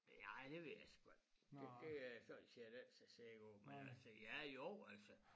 Ja ej det ved jeg sgu ik et det øh jeg sådan set ikke så sikker på men altså ja jo altså